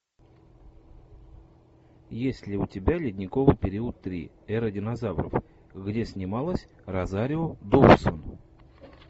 есть ли у тебя ледниковый период три эра динозавров где снималась розарио доусон